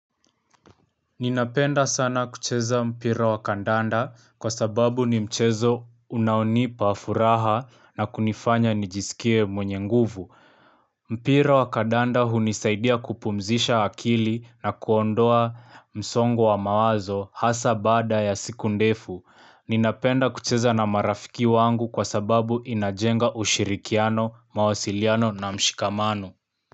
Ninapenda sana kucheza mpira wa kandanda kwa sababu ni mchezo unaonipaa furaha na kunifanya nijisikie mwenye nguvu. Mpir wa kandanda hunisaidia kupumzisha akili na kuondoa msongo wa mawazo hasa bada ya siku ndefu. Ninapenda kucheza na marafiki wangu kwa sababu inajenga ushirikiano, mawasiliano na mshikamano.